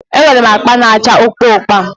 E nwere m akpa na-acha ụpa ụpa